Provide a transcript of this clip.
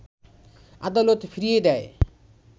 আদালত ফিরিয়ে দেয়